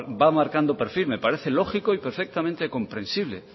va marcando un perfil me parece lógico y perfectamente comprensible